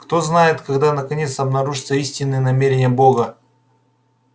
кто знает когда наконец обнаружатся истинные намерения бога